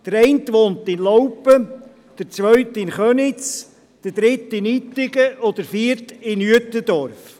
Der eine wohnt in Laupen, der zweite in Köniz, der dritte in Ittigen und der vierte in Uetendorf.